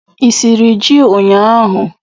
Ị siri ji ụnyaahụ?